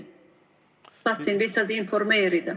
Tahtsin lihtsalt informeerida.